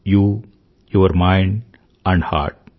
you your mind and heart